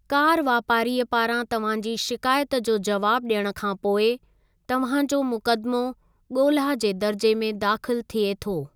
Car वापारीअ पारां तव्हां जी शिकायत जो जवाबु ॾियण खां पोइ, तव्हां जो मुक़दमो ॻोल्हा जे दर्जे में दाख़िलु थिए थो।